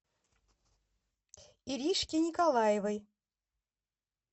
иришке николаевой